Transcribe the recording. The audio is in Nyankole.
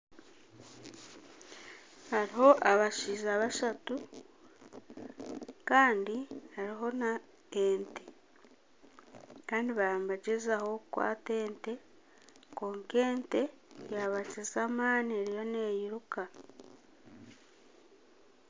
Hariho abashaija bashatu Kandi hariho nana ente Kandi baba nibagyezaho kukwata ente kwonka ente yabakiza amaani eriyo neyiruka.